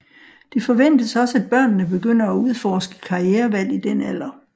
Det forventes også at børnene begynder at udforske karrierevalg i den alder